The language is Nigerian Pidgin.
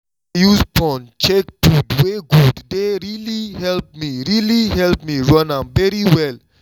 to dey use phone check food wey good dey really help me really help me run am very well